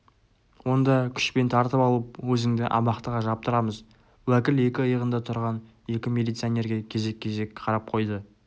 онда күшпен тартып алып өзіңді абақтыға жаптырамыз уәкіл екі иығында тұрған екі милиционерге кезек-кезек қарап қойды